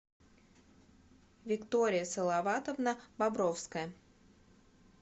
виктория салаватовна бобровская